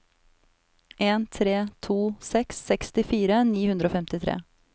en tre to seks sekstifire ni hundre og femtitre